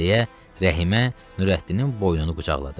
deyə Rəhimə Nurəddinin boynunu qucaqladı.